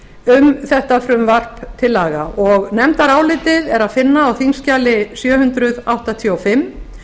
um þetta frumvarp til laga og nefndarálitið er að finna á þingskjali sjö hundruð áttatíu og fimm